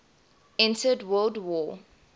entered world war